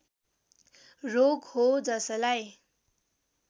रोग हो जसलाई